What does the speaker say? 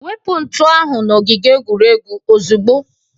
Wepu ntu ahụ n'ogige egwuregwu ozugbo!